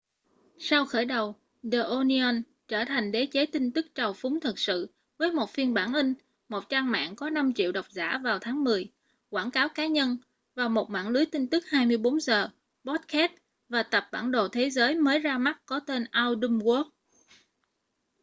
sau khởi đầu the onion trở thành đế chế tin tức trào phúng thực sự với một phiên bản in một trang mạng có 5.000.000 độc giả vào tháng mười quảng cáo cá nhân và một mạng lưới tin tức 24 giờ podcast và tập bản đồ thế giới mới ra mắt có tên our dumb world